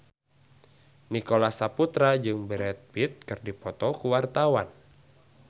Nicholas Saputra jeung Brad Pitt keur dipoto ku wartawan